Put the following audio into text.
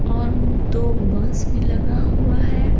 और दो बस लगा हुआ है।